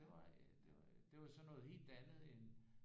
Det var øh det var sådan noget helt andet end